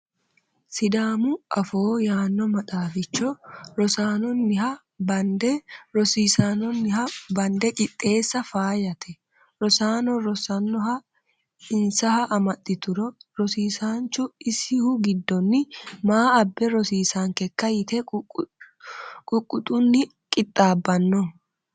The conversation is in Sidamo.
Sidaamu afoo yaano maxaaficho rosaanoniha bande rosiisanohano bande qixeessa faayyate ,rosaano rossanoha insaha amaxituro rosiisanchu isihu giddoni maa abbe rosiisankekka yte ququxuni qixaabbano.